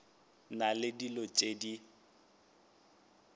na le dilo tšeo di